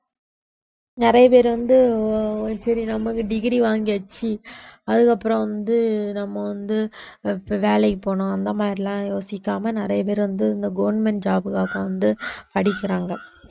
நிறைய பேர் வந்து சரி நமக்கு degree வாங்கியாச்சு அதுக்கப்புறம் வந்து நம்ம வந்து இப்ப வேலைக்குப் போகனும் அந்த மாதிரி எல்லாம் யோசிக்காம நிறைய பேர் வந்து இந்த government job க்காக வந்து படிக்கிறாங்க